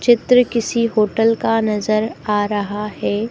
चित्र किसी होटल का नजर आ रहा हैं।